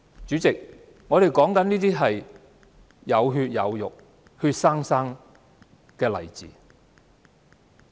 主席，上述都是有血有肉的活生生例子。